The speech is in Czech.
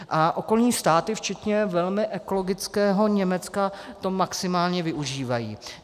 A okolní státy, včetně velmi ekologického Německa, to maximálně využívají.